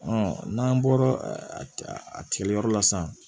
n'an bɔra a tigɛ yɔrɔ la sisan